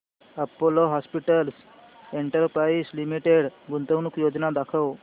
Apollo Hospitals Enterprise Limited गुंतवणूक योजना दाखव